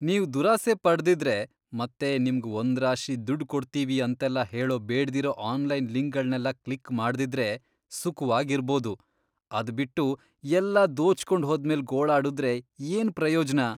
ನೀವ್ ದುರಾಸೆ ಪಡ್ದಿದ್ರೆ ಮತ್ತೆ ನಿಮ್ಗ್ ಒಂದ್ರಾಶಿ ದುಡ್ಡ್ ಕೊಡ್ತೀವಿ ಅಂತೆಲ್ಲ ಹೇಳೋ ಬೇಡ್ದಿರೋ ಆನ್ಲೈನ್ ಲಿಂಕ್ಗಳ್ನೆಲ್ಲ ಕ್ಲಿಕ್ ಮಾಡ್ದಿದ್ರೆ ಸುಖವಾಗ್ ಇರ್ಬೋದು. ಅದ್ಬಿಟ್ಟು ಎಲ್ಲ ದೋಚ್ಕೊಂಡ್ ಹೋದ್ಮೇಲ್ ಗೋಳಾಡುದ್ರೆ ಏನ್ ಪ್ರಯೋಜ್ನ?